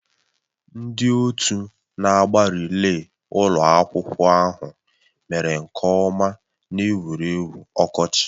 Ndị otu na-agba rịlẹ́ ụlọ akwụkwọ ahụ mere nke ọma n'egwuregwu ọkọchị